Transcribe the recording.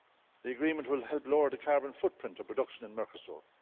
The agreement will help lower the carbon footprint of production in Mercosur.